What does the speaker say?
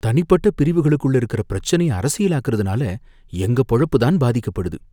தனிப்பட்ட பிரிவுகளுக்குள்ள இருக்குற பிரச்சனைய அரசியலாக்குறதுனால எங்க பொழப்பு தான் பாதிக்கப்படுது.